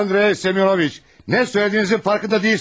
Andrey Semyonoviç, nə söylədiyinizin farkında deyilsiniz.